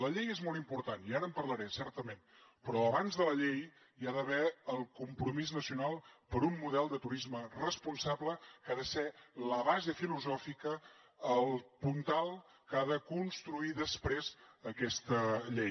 la llei és molt important i ara en parlaré certament però abans de la llei hi ha d’haver el compromís nacional per un model de turisme responsable que ha de ser la base filosòfica el puntal que ha de construir després aquesta llei